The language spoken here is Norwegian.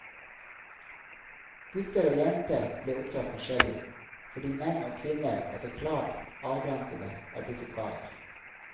Gutter og jenter ble oppdratt forskjellig, fordi menn og kvinner hadde klart avgrensede arbeidsoppgaver.